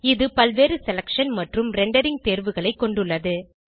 இது பல்வேறு செலக்ஷன் மற்றும் ரெண்டரிங் தேர்வுகளைக் கொண்டுள்ளது